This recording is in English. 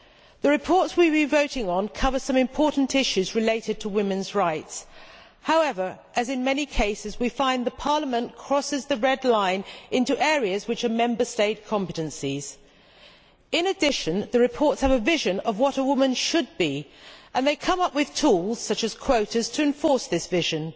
The reports we have been voting on cover some important issues relating to women's rights. However, as in many cases, we find Parliament crosses the red line into areas which are Member State competencies. In addition, the reports have a vision of what a woman should be, and they come up with tools such as quotas to enforce this vision.